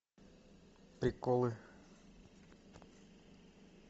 приколы